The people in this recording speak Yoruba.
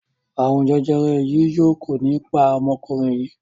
arun jẹjẹrẹ yii yóò kò ní pá omokunrin yii.